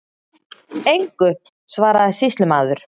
Engu, svaraði sýslumaður.